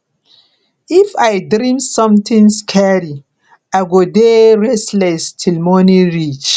if i dream something scary i go dey restless till morning reach